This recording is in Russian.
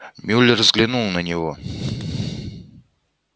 мюллер взглянул на него